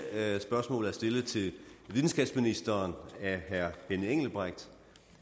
spørgsmål er stillet til videnskabsministeren af herre benny engelbrecht